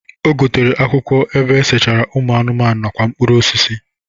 O gotere akwụkwọ ebe esechara ụmụ anụmanụ nakwa mkpụrụ osisi.